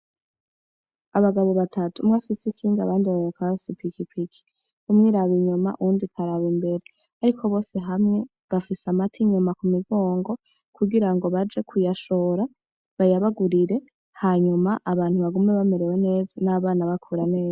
Abagabo batatu umwe afise ikinga abandi babiri bakaba bafise ipikipiki, umwe iraba inyuma uwundi ikaraba imbere ariko bose hamwe bafise amata inyuma kumigongo kugirango baje kuyashora bayabagurire hanyuma abantu bagume bamerewe neza n'abana bakura neza.